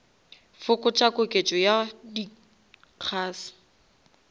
fokotša koketšo ya di gas